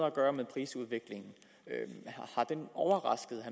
at gøre med prisudviklingen har den overrasket